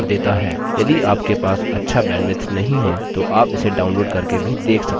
यदि आपके पास अच्छा बैन्ड्विड्थ नहीं है तो आप इसे download करके भी देख सकते हैं